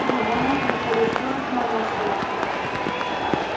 его не интересует наносное